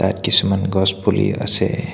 ইয়াত কিছুমান গছ পুলি আছে।